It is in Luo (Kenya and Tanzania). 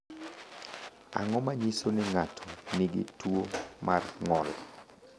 Ang’o ma nyiso ni ng’ato nigi tuwo mar ng’ol?